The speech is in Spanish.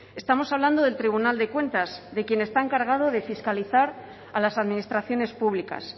estamos hablando del tribunal de cuentas de quien está encargado de fiscalizar a las administraciones públicas